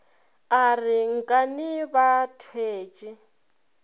a re nkane ba thwetše